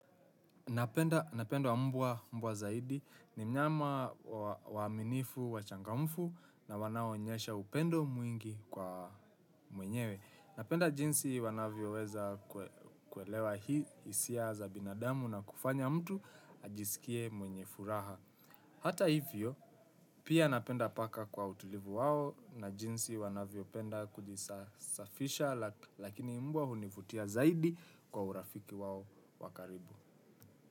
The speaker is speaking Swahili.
Napenda mbwa zaidi ni mnyama waaminifu, wachangamfu na wanaonyesha upendo mwingi kwa mwenyewe. Napenda jinsi wanavyoweza kuelewa hisia za binadamu na kufanya mtu ajisikie mwenye furaha. Hata hivyo, pia napenda paka kwa utulivu wao na jinsi wanavyopenda kujisafisha lakini mbwa hunivutia zaidi kwa urafiki wao wa karibu.